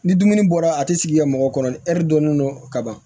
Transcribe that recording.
Ni dumuni bɔra a ti sigi ka mɔgɔ kɔrɔlen hɛri dɔni n dɔn ka ban